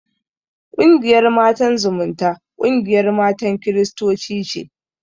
Ƙungiyar Matan Zumunta, ƙungiyar matan kiristoci ce.